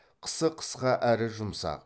қысы қысқа әрі жұмсақ